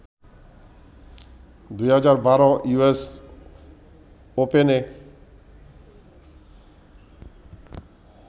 ২০১২ US ওপেনে